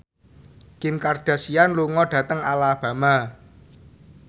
Kim Kardashian lunga dhateng Alabama